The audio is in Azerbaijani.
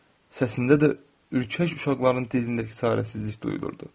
Səsində də ürkək uşaqların dilindəki çarəsizlik duyulurdu.